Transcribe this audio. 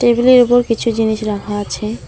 Table -এর উপর কিছু জিনিস রাখা আছে।